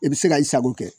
I bɛ se ka i sago kɛ